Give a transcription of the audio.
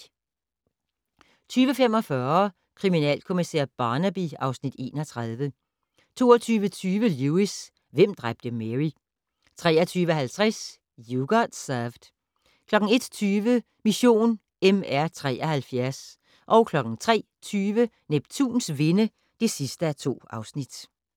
20:45: Kriminalkommissær Barnaby (Afs. 31) 22:20: Lewis: Hvem dræbte Mary? 23:50: You Got Served 01:20: Mission MR73 03:20: Neptuns vinde (2:2)